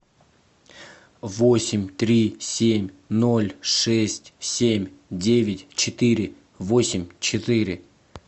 восемь три семь ноль шесть семь девять четыре восемь четыре